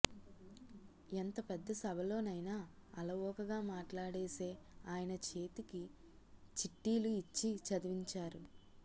ఎంత పెద్ద సభలోనైనా అలవోకగా మాట్లాడేసే ఆయన చేతికి చిట్టీలు ఇచ్చి చదివించారు